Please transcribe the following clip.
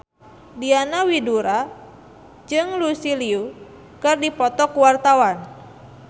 Diana Widoera jeung Lucy Liu keur dipoto ku wartawan